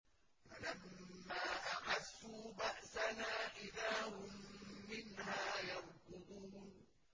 فَلَمَّا أَحَسُّوا بَأْسَنَا إِذَا هُم مِّنْهَا يَرْكُضُونَ